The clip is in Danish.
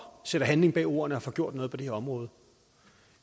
sætter handling bag ordene og får gjort noget på det her område